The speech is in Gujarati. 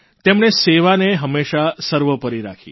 તેમણે સેવાને હંમેશા સર્વોપરી રાખી